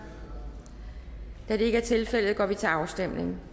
da det ikke er tilfældet går vi til afstemning